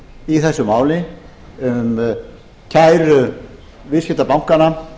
í þessu máli um kæru viðskiptabankanna